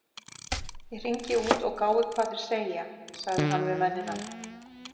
Ég hringi út og gái hvað þeir segja- sagði hann við mennina.